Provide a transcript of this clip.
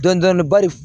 Dɔndɔni bari